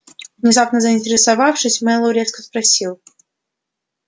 внезапно заинтересовавшись мэллоу резко спросил